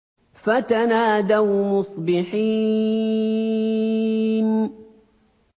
فَتَنَادَوْا مُصْبِحِينَ